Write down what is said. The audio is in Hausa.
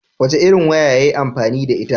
Wace irin waya yayi amfani da ita?